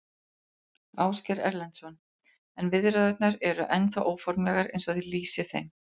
Ásgeir Erlendsson: En viðræðurnar eru ennþá óformlegar eins og þið lýsið þeim?